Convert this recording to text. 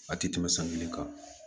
A ti tɛmɛ san kelen kan